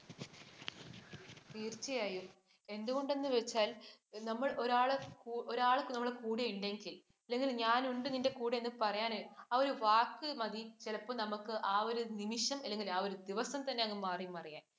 തീര്‍ച്ചയായും. എന്തുകൊണ്ടെന്ന് വച്ചാൽ നമ്മൾ ഒരാൾ നമ്മുടെ കൂടെ ഉണ്ടെങ്കിൽ, അല്ലെങ്കിൽ ഞാൻ ഉണ്ട് നിൻ്റെ കൂടെ എന്ന് പറയാൻ, ആ ഒരു വാക്ക് മതി ചിലപ്പോ നമുക്ക് ആ ഒരു നിമിഷം അല്ലെങ്കിൽ ആ ഒരു ദിവസം അങ്ങ് മാറി മറിയാൻ.